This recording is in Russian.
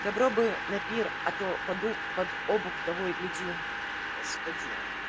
добро бы на пир а то под обух того и гляди